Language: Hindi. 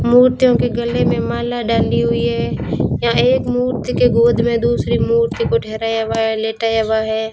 मूर्तियों के गले में माला डाली हुई है यहां एक मूर्ति के गोद में दूसरी मूर्ति को ठहराया हुआ है लेटाया हुआ है।